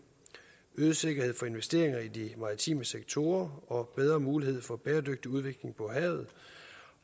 øget sikkerhed for investeringer i de maritime sektorer og bedre mulighed for en bæredygtig udvikling på havet